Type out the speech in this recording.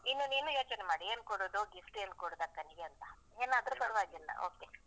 ಇನ್ನು ನೀನು ಯೋಚನೆ ಮಾಡು ಏನ್ ಕೊಡುದು gift , ಏನ್ ಕೊಡುದು ಅಕ್ಕನಿಗೆ ಅಂತ, ಏನ್ ಆದ್ರು ಪರವಾಗಿಲ್ಲ okay .